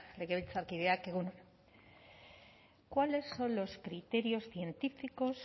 legebiltzarkideok egun on cuáles son los criterios científicos